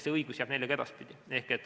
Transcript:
See õigus jääb neile ka edaspidi.